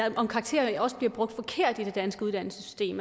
og om karakteren også bliver brugt forkert i det danske uddannelsessystem